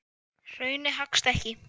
Hraunið haggast ekki.